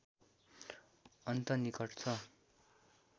अन्त निकट छ